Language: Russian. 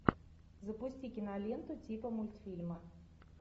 запусти киноленту типа мультфильма